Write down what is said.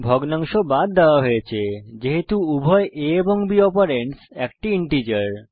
ভগ্নাংশ বাদ দেওয়া হয়েছে যেহেতু উভয় a এবং b অপারেন্ডস একটি ইন্টিজার